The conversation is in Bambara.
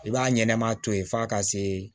I b'a ɲɛnɛma to yen f'a ka see